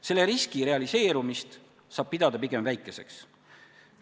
Selle riski realiseerumist saab pidada pigem väikeseks.